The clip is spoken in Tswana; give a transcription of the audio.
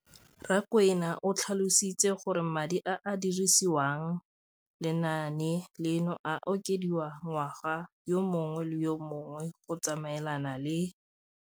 Rakwena o tlhalositse gore madi a a dirisediwang lenaane leno a okediwa ngwaga yo mongwe le yo mongwe go tsamaelana le